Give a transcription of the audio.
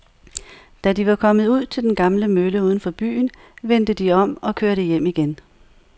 Da de var kommet ud til den gamle mølle uden for byen, vendte de om og kørte hjem igen.